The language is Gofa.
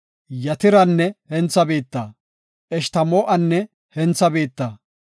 Yatiranne hentha biitta, Eshtamoo7anne hentha biitta,